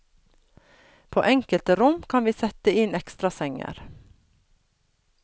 På enkelte rom kan vi sette inn ekstrasenger.